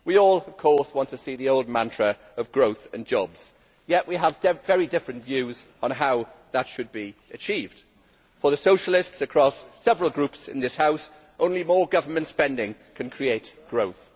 We all, of course, want the old mantra of growth and jobs, yet we have very different views on how that should be achieved. For the socialists, across several groups in this House, only more government spending can create growth.